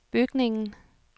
bygningen